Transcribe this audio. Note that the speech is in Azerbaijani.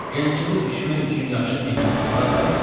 Gəncədə düşmək üçün yaxşı mehmanxanalar varmı?